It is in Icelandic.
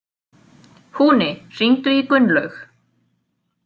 Húni, hringdu í Gunnlaug.